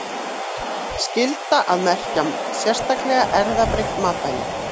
Skylda að merkja sérstaklega erfðabreytt matvæli